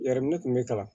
Yɛrɛminɛ kun bɛ kalan